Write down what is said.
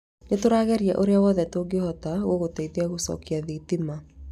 Nĩ tũrageria ũrĩa wothe tũngĩhota gũgũteithia gũcokia thitima.